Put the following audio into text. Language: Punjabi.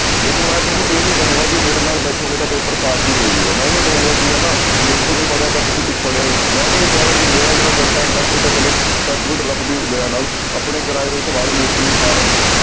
ਦੇਖੋ ਮੈਂ ਤੁਹਾਨੂੰ ਇਹ ਨੀ ਕਹਾਂਗਾ ਕਿ ਮੇਰੇ ਨਾਲ ਬੈਠੋਗੇ ਤਾਂ ਪੇਪਰ ਪਾਸ ਹੀ ਹੋ ਜਾਊਗਾ ਮੈਂ ਨੀ ਕਹਾਂਗਾ ਕਿ ਹਨਾ ਮੈਥੋਂ ਨੀ ਪੜ੍ਹਿਆ ਤਾਂ ਤੁਸੀਂ ਕੁਛ ਪੜ੍ਹਿਆ ਹੀ ਨੀ ਮੈਂ ਨੀ ਇਹ ਕਹਿ ਰਿਹਾ ਕਿ ਮੇਰਾ ਜਿਹੜਾ content ਹੈ ਉਹ ਤਾਂ ਚਲੋ ਰੱਬ ਦੀ ਦਇਆ ਨਾਲ ਆਪਣੇ ਕਰਾਏ ਹੋਏ ਸਵਾਲ mostly ਆ ਰਹੇ ਨੇ